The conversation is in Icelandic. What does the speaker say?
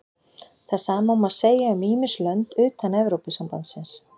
það sama má segja um ýmis lönd utan evrópusambandsins